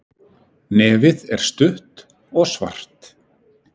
Nefið er stutt og svart.